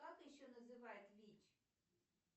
как еще называют вич